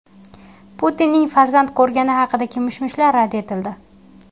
Putinning farzand ko‘rgani haqidagi mish-mishlar rad etildi.